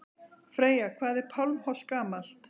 Freyja: Hvað er Pálmholt gamalt?